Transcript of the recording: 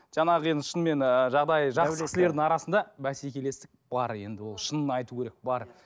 жаңағы енді шынымен ыыы жағдайы жақсы кісілердің арасында бәсекелестік бар енді ол шынын айту керек бар